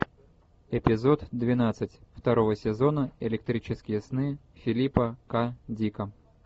эпизод двенадцать второго сезона электрические сны филипа к дика